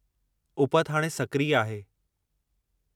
उपति हाणे सक्रिय आहे।